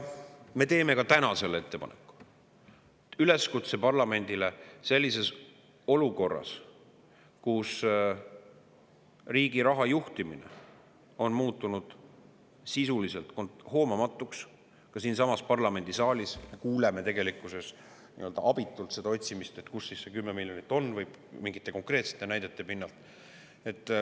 Me teeme ka täna selle ettepaneku, üleskutse parlamendile sellises olukorras, kus riigi raha juhtimine on muutunud sisuliselt hoomamatuks, ka siinsamas parlamendisaalis kuuleme nii-öelda abitut otsimist, kus siis see 10 miljonit on, mingite konkreetsete näidete pinnalt.